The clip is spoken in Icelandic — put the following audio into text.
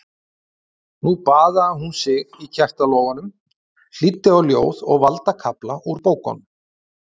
Nú baðaði hún sig í kertalogunum, hlýddi á ljóð og valda kafla úr bókum.